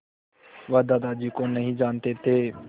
वह दादाजी को नहीं जानते थे